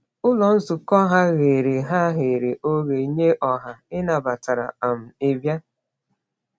Ụlọ nzukọ ha ghere ha ghere oghe nye ọha, ị nabatara um ịbịa.